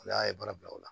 Ala ye baara bila o la